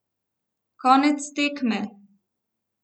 Konec tekme!